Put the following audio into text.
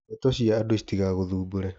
Ndeto cia andũ citigagũthũmbũre.